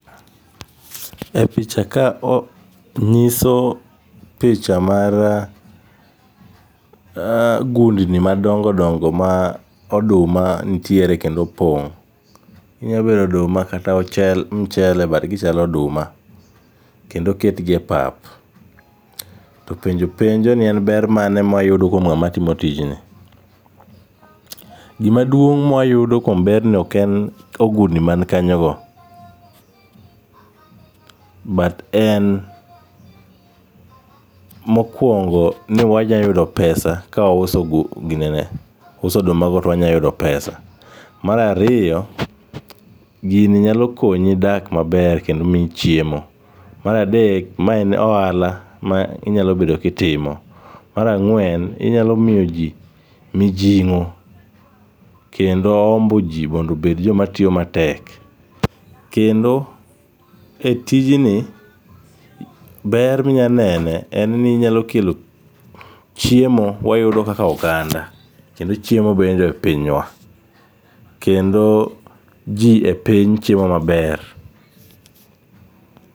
E picha ka nyiso picha mar gundni madongo dongo ma oduma nitiere kendo opong'. Onyalo bedo oduma kata michele but gichalo oduma. Kendo oketgi e pap to penjo penjo ni en ber mane ma wayudo kuom ng'ama timo tijni. Gima duong' ma wayudo kuom berni ok en ogundni man kanyogo but en mokuongo ni wanyalo yudo pesa kawauso ginene, ka wauso odumago to wanyalo yudo pesa. Mar ariyo gini nyalo konyi dak maber kendo miyi chiemo. Mar adek ma en ohala ma inyalo bedo ka itimo. Mar ang'wen inyalo miyo ji mijing'o kendo hombo ji mondo obed joma tiyo matek. Kendo e tijni ber ma inyalo nene en ni inyalo kelo chiemo wayudo kaka oganda kendo chiemo bedo e pinywa. Kendo ji e piny chiemo maber.